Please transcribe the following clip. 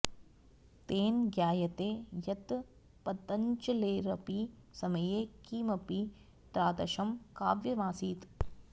तेन ज्ञायते यत् पतञ्जलेरपि समये किमपि तादृशं काव्यमासीत्